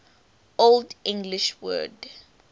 old english word